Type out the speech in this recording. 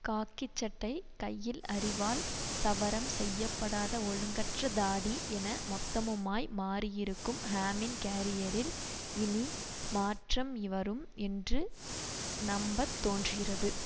காக்கி சட்டை கையில் அரிவாள் சவரம் செய்ய படாத ஒழுங்கற்ற தாடி என மொத்தமுமாய் மாறியிருக்கும் ஹேமின் கேரியரில் இனி மாற்றம் வரும் என்று நம்பத்தோன்றுகிறது